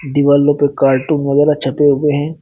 दीवालों पे कार्टून वगैरह छपे हुए हैं।